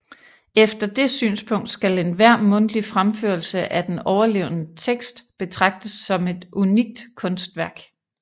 Efter det synspunkt skal enhver mundtlig fremførelse af den overleverede tekst betragtes som et unikt kunstværk